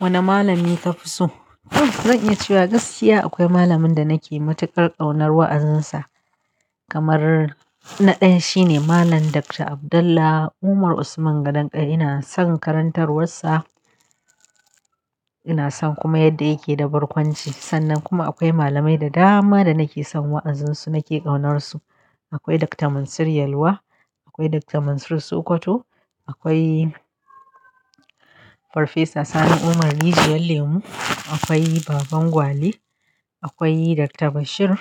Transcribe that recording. Wane malami kafi so? Ah, zan iya cewa gaskiya akwai malamin da nake matukar ƙaunar wa'azinsa. Kamar na ɗaya shine Malam Dr. Abdullah Umar Usman Gadan ƙaya. Ina son karantarwarsa, ina son kuma yadda yake da barkwanci. Sannan kuma akwai malamai da dama da nake son wa'azinsu, nake ƙaunarsu. Akwai Dr. Mansir Yelwa, akwai Dr. Mansir Sokoto, akwai Farfesa Sani Umar Rijiyar lemu, akwai Baban Gwale, akwai Dr. Bashir,